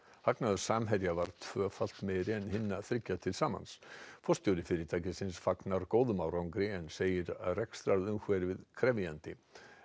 hagnaður Samherja var tvöfalt meiri en hinna þriggja til samans forstjóri fyrirtækisins fagnar góðum árangri en segir rekstrarumhverfið krefjandi